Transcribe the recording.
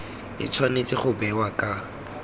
e tshwanetse go bewa ka